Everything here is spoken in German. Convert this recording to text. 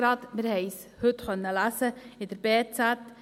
wir konnten es heute in der «Berner Zeitung (BZ)» lesen.